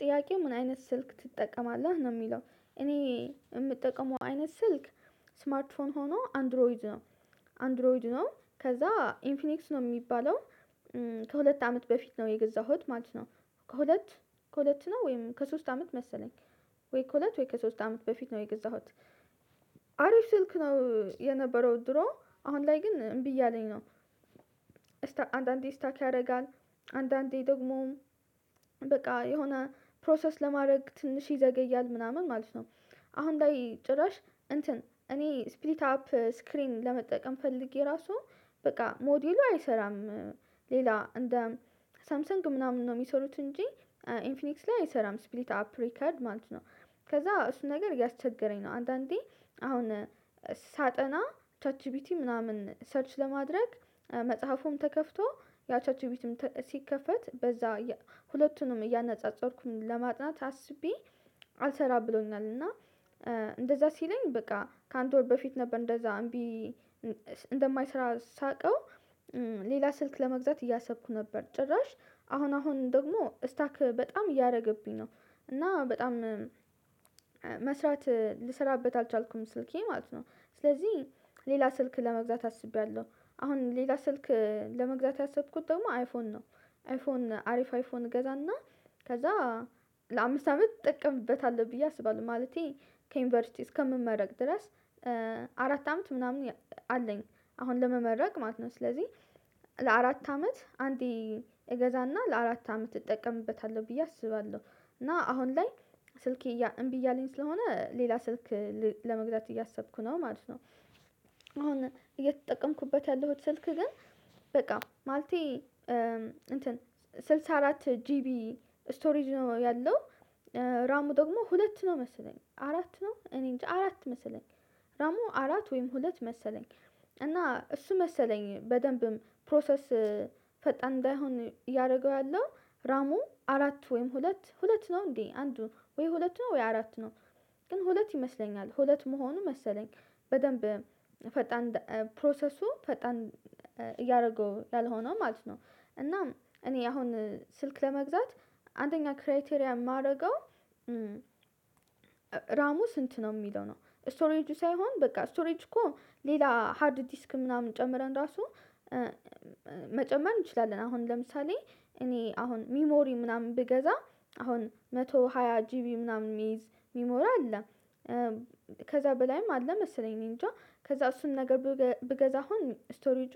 ጥያቄው ምን አይነት ስልክ ትጠቀማለህ ነው የሚለው? እኔ የምጠቀመው አይነት ስልክ ስማርት ስልክ ሆኖ ኣንድሮይድ ነው አንድሮይድ ነው ከዛ ኢንፊኒክስ ነው የሚባለው ከሁለት አመት በፊት ነው የገዛሁት ማለት ነው። ከሁለት ከሁለት ነው ወይም ከሶስት አመት መሰለኝ ወይ ከሁለት ወይ ከሶስት አመት በፊት ነው የገዛሁት። አሪፍ ስልክ ነው የነበረው ድሮ አሁን ላይ ግን እምቢ እያለኝ ነው። አንዳንዴ ስታክ ያደርጋል አንዳንዴ ደግሞ በቃ የሆነ ፕሮሰስ ለማድረግ ትንሽ ይዘገያል ምናምን ማለት ነው። አሁን ላይ ጭራሽ እንትን እኔ ስፕሊት አፕ ስክሪን ለመጠቀም ፈልጌ ራሱ በቃ ሞዴሉ አይሰራም። ሌላ እንደ ሳምሰን ግን ምናምን ነው የሚሰሩት እንጂ ኢንፊኒክስ ላይ አይሰራም ስፒሊት አፕ ሪከርድ ማለት ነው። ከዛ እሱ ነገር ያስቸገረኝ ነው አንዳንዴ አሁን ሳጠና ቻት ጂፒቲ ምናምን ሰርች ለማድረግ መጽሐፉም ተከፍቶ ያቻችሁ ቤትም ሲከፈት በዛ ሁለቱንም እያነጻጸርኩኝ ለማጥናት አስቤ አልሰራ ብሎናል እና እንደዛ ሲለኝ በቃ ካንተ ወር በፊት ነበር እንደዛ አምቢ። እንደማይሰራ ሳውቀው ሌላ ስልክ ለመግዛት እያሰብኩ ነበር ጭራሽ አሁን አሁን ደግሞ ስታክ በጣም እያደረገብኝ ነው። እና በጣም መስራት ልሰራበት አልቻልኩም ስልኬ ማለት ነው ስለዚህ ሌላ ስልክ ለመግዛት አስቤያለሁ። አሁን ሌላ ስልክ ለመግዛት ያሰብኩት ደግሞ አይፎን ነው አይፎን አሪፍ አይፎን እገዛና ከዛ ለአምስት አመት እጠቀምበታለሁ ብዬ አስባለሁ ማለቴ ከዩኒቨርሲቲ እስከምመረቅ ድረስ። አራት አመት ምናምን አለኝ አሁን ለመመረቅ ማለት ነው ስለዚህ ለአራት አመት አንዴ እገዛና ለአራት አመት እጠቀምበታለሁ ብዬ አስባለሁ። እና አሁን ላይ ስልኬ እምቢ እያለኝ ስለሆነ ሌላ ስልክ ለመግዛት እያሰብኩ ነው ማለት ነው። አሁን እየተጠቀምኩበት ያለሁት ስልክ ግን በቃ ማለቴ እንትን ስድሳ አራት ጂቢ ስቶሬጅ ነው ያለው። ራሙ ደግሞ ሁለት ነው መሰለኝ አራት ነው እኔ እንጃ አራት መሰለኝ ራሙ አራት ወይም ሁለት መሰለኝ እና እሱ መሰለኝ በደንብም ፕሮሰስ ፈጣን እንዳይሆን ያደረገው ያለው ራሙ አራት ወይም ሁለት ሁለት ነው እንዴ አንዱ ወይ ሁለት ነው ወይ አራት ነው? ግን ሁለት ይመስለኛል ሁለት መሆኑ መሰለኝ በደንብ ፈጣን ፕሮሰሱ በጣም እያደረገው ያልሆነው ማለት ነው። እናም እኔ አሁን ስልክ ለመግዛት አንደኛ ክራይቴሪያ የማደርገው ራሙ ስንት ነው የሚለው ነው? ስቶሬጁ ሳይሆን በቃ ስቶሬጁ እኮ ሌላ ሃድ ዲስክ ምናምን ጨምረን ራሱ መጨመር እንችላለን። አሁን ለምሳሌ እኔ አሁን ሚሞሪ ምናምን ብገዛ አሁን መቶ ሃያ ጂቢ ምናምን የሚይዝ ሚሞሪ አለ። ከዛ በላይም አለ መሰለኝ እኔ እንጃ ከዛ እሱን ነገር ብገዛ አሁን ስቶሪጁ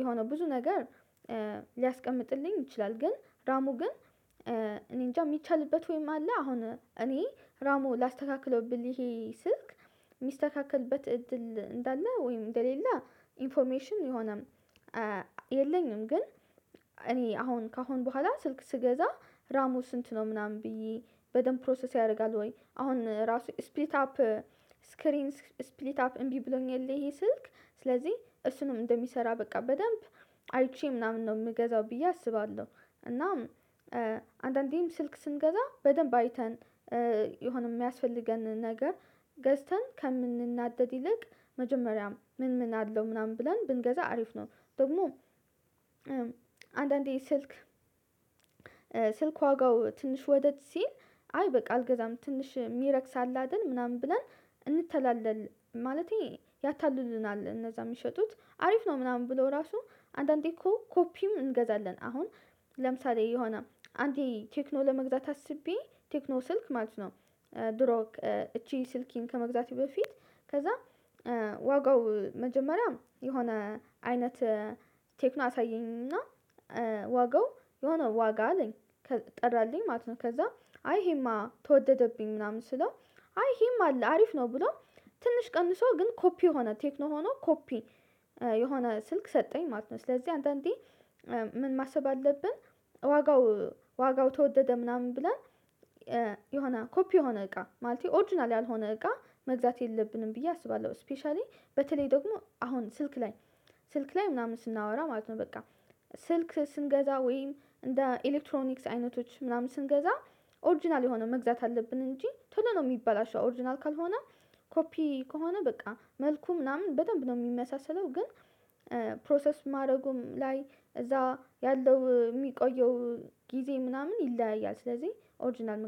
የሆነ ብዙ ነገር ሊያስቀምጥልኝ ይችላል ግን ራሙ ግን እኔእንጃ የሚቻልበት ወይም አለ አሁን እኔ ራሙ ላስተካክለውብል ይሄ ስልክ የሚስተካከልበት እድል እንዳለ ወይም እንደሌለ ኢንፎርሜሽን የሆነም የለኝም። ግን እኔ አሁን ከአሁን በኋላ ስልክ ስገዛ ራሙ ስንት ነው ምናምን ብዬ በደንብ ፕሮሰስ ያደርጋል ወይ አሁን ራሱ ስፕሊት አፕ ስክሪን ስፕሊት አፕ እምቢ ብሎኛልየለ ይሄ ስልክ ስለዚህ እሱንም እንደሚሰራ በቃ በደንብ አይቼ ምናምን ነው የምገዛው ብዬ አስባለሁ። እናም አንዳንዴም ስልክ ስንገዛ በደንብ አይተን የሆነ የሚያስፈልገንን ነገር ገዝተን ከምንናደድ ይልቅ መጀመሪያ ምን ምን አለው ምናምን ብለን ብንገዛ አሪፍ ነው። ደግሞ አንዳንዴ ስልክ ስልክ ዋጋው ትንሽ ወደድ ሲል አይ በቃ አልገዛም ትንሽ የሚረክስ አይደል ምናምን ብለን እንታለላለን ማለቴ ያታሉልናል እነዛ የሚሸጡት አሪፍ ነው ምናምን ብለው ራሱ አንዳንዴ ኮ ኮፒም እንገዛለን አሁን ለምሳሌ የሆነ አንዴ ቴክኖ ለመግዛት አስቤ ቴክኖ ስልክ ማለት ነው። ድሮክ እቺ ስልኬን ከመግዛቴ በፊት ከዛ ዋጋው መጀመሪያ የሆነ አይነት ቴክኖ አሳየኝና ዋጋው የሆነ ዋጋ አለኝ ጠራልኝ ማለት ነው ከዛ አይ ይሄማ ተወደደብኝ ምናምን ስለው አይ ይሄም አለ አሪፍ ነው ብሎ ትንሽ ቀንሶ ግን ኮፒ ሆነ ቴክኖ ሆኖ ኮፒ የሆነ ስልክ ሰጠኝ ማለት ነው። ስለዚህ አንዳንዴ ምን ማሰብ አለብን ዋጋው ዋጋው ተወደደ ምናምን ብለን የሆነ ኮፒ የሆነ እቃ ማለት ነው ኦሪጅናል ያልሆነ እቃ መግዛት የለብንም ብዬ አስባለሁ። ስፔሻሊ በተለይ ደግሞ አሁን ስልክ ላይ ስልክ ላይ ምናምን ስናወራ ማለት ነው። በቃ ስልክ ስንገዛ ወይም እንደ ኤሌክትሮኒክስ አይነቶች ምናምን ስንገዛ ኦሪጅናል የሆነ መግዛት አለብን እንጂ ቶሎ ነው የሚበላሸው ኦሪጅናል ካልሆነ ኮፒ ከሆነ በቃ መልኩ ምናምን በደንብ ነው የሚመሳሰለው ግን ፕሮሰስ ማድረጉም ላይ እዛ ያለው የሚቆየው ጊዜ ምናምን ይለያያል። ስለዚህ ኦሪጅናል